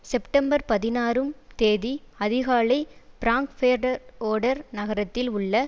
September பதினாறும் தேதி அதிகாலை பிராங்பேடர்ஓடர் நகரத்தில் உள்ள